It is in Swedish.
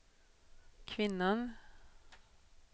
kvinnan